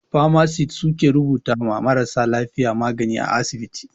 "Pharmacist" su ke rubuta ma marasa lafiya magani a asibiti.